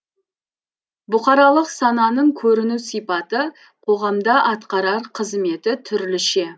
бұқаралық сананың көріну сипаты қоғамда атқарар қызметі түрліше